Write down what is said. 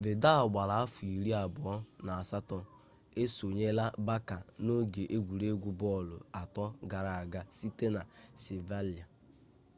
vidal gbara afọ iri abụọ na asatọ esonyela barça n'oge egwuregwu bọọlụ atọ gara aga site na sevilla